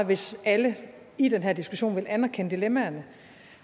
hvis alle i den her diskussion ville anerkende dilemmaerne